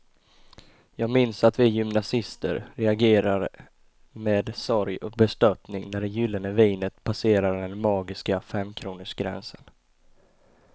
Jag minns att vi gymnasister reagerade med sorg och bestörtning när det gyllene vinet passerade den magiska femkronorsgränsen.